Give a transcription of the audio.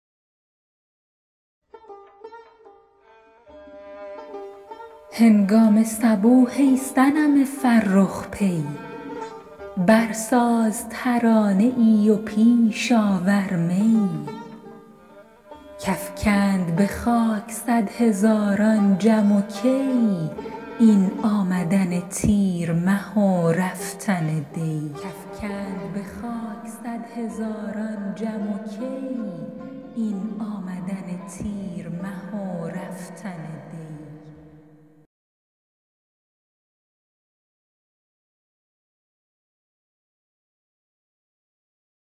هنگام صبوح ای صنم فرخ پی برساز ترانه ای و پیش آور می کافکند به خاک صدهزاران جم و کی این آمدن تیر مه و رفتن دی